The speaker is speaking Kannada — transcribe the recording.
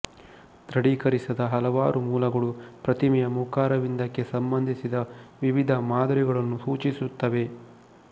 ದೃಢೀಕರಿಸದ ಹಲವಾರು ಮೂಲಗಳು ಪ್ರತಿಮೆಯ ಮುಖಾರವಿಂದಕ್ಕೆ ಸಂಬಂಧಿಸಿದ ವಿವಿಧ ಮಾದರಿಗಳನ್ನು ಸೂಚಿಸುತ್ತವೆ